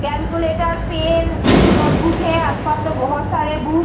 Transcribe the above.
calculator pen कुछ notebook है आस-पास में बहुत सारे बु --